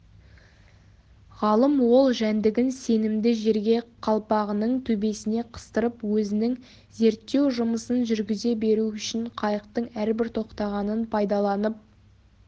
ғалым ол жәндігін сенімді жерге қалпағының төбесіне қыстырып өзінің зерттеу жұмысын жүргізе беру үшін қайықтың әрбір тоқтағанын пайдаланып